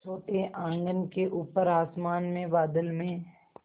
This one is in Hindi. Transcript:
छोटे आँगन के ऊपर आसमान में बादल में